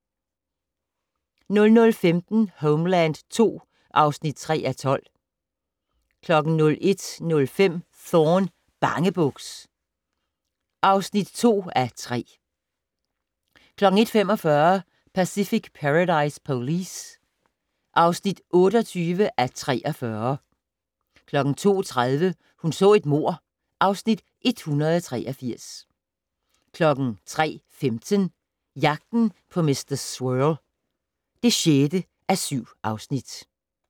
00:15: Homeland II (3:12) 01:05: Thorne: Bangebuks (2:3) 01:45: Pacific Paradise Police (28:43) 02:30: Hun så et mord (Afs. 183) 03:15: Jagten på mr. Swirl (6:7)